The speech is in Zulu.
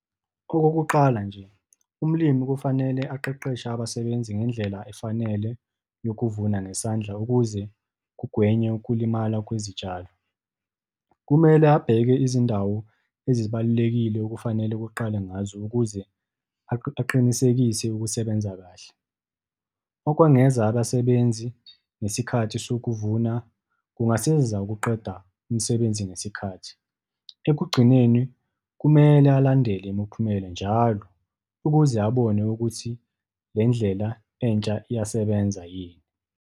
Okokuqala nje, umlimi kufanele aqeqeshe abasebenzi ngendlela efanele yokuvuna ngesandla ukuze kugwenywe ukulimala kwezitshalo. Kumele abheke izindawo ezibalulekile okufanele kuqalwe ngazo, ukuze aqinisekise ukusebenza kahle. Okwengeza abasebenzi ngesikhathi sokuvuna kungasiza ukuqeda umsebenzi ngesikhathi. Ekugcineni kumele alandele imiphumela njalo, ukuze abone ukuthi le ndlela entsha iyasebenza yini.